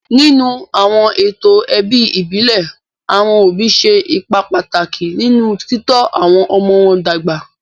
Nínú àwọn ètò ẹbí ìbílẹ̀, àwọn òbí ṣe ipa pàtàkì nínú títọ́ àwọn ọmọ wọn dàgbà.